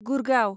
Gurgaon